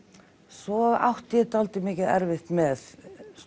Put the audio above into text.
svo átti ég dálítið mikið erfitt með